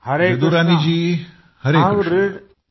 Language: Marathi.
जदुरानी जी हरे कृष्ण